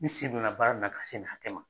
N sen donna baara in na ka se nin hatɛ ma.